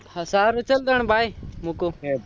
હા સારું ચલ પણ bye મુકું